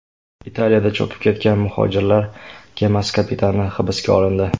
Italiyada cho‘kib ketgan muhojirlar kemasi kapitani hibsga olindi.